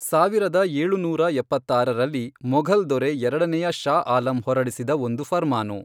ಸಾವಿರದ ಏಳುನೂರ ಎಪ್ಪತ್ತಾರರಲ್ಲಿ, ಮೊಘಲ್ ದೊರೆ ಎರಡನೇಯ ಷಾ ಆಲಂ ಹೊರಡಿಸಿದ ಒಂದು ಫರ್ಮಾನು.